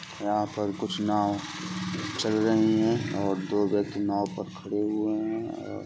यहां पर कुछ नाव चल रही है और दो व्यक्ति नाव पर खड़े हुए हैं और --